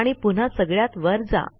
आणि पुन्हा सगळ्यात वर जा